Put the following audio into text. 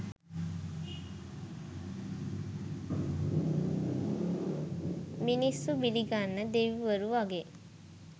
මිනිස්සු බිලිගන්න දෙවිවරු වගේ